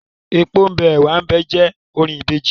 Epo ḿ bẹ, ẹ̀wá ḿ bẹ óò; jẹ́ orin Ìbejì.